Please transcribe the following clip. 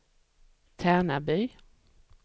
Tärnaby